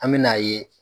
An me n'a ye